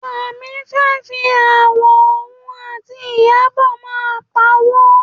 Yọ̀mí fẹ́ fi aáwọ̀ òun àti Ìyábọ̀ máa pawó.